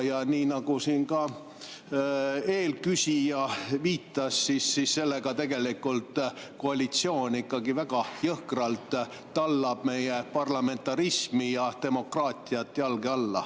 Ja nii nagu siin ka eelküsija viitas, sellega koalitsioon ikkagi väga jõhkralt tallab meie parlamentarismi ja demokraatiat jalge alla.